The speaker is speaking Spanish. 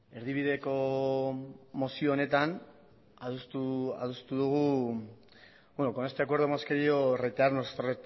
con este acuerdo hemos querido reiterar nuestro